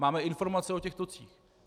Máme informace o těch tocích.